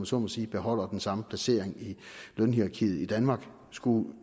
så må sige beholder den samme placering i lønhierarkiet i danmark skulle